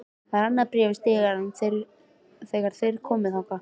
Það var annað bréf í stiganum þegar þeir komu þangað.